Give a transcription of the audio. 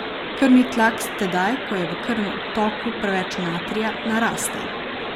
Krvni tlak tedaj, ko je v krvnem obtoku preveč natrija, naraste.